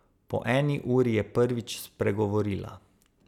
Po eni uri je prvič spregovorila.